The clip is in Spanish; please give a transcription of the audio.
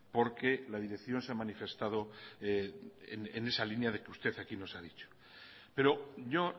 porque la dirección se ha manifestado en esa línea de que usted aquí nos ha dicho pero yo